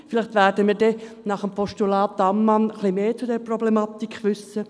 Vielleicht werden wir nach dem Postulat von Grossrätin Ammann mehr über diese Problematik wissen.